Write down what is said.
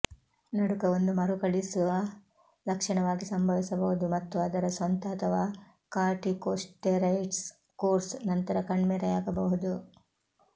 ನಡುಕ ಒಂದು ಮರುಕಳಿಸುವ ಲಕ್ಷಣವಾಗಿ ಸಂಭವಿಸಬಹುದು ಮತ್ತು ಅದರ ಸ್ವಂತ ಅಥವಾ ಕಾರ್ಟಿಕೊಸ್ಟೆರೈಡ್ಸ್ ಕೋರ್ಸ್ ನಂತರ ಕಣ್ಮರೆಯಾಗಬಹುದು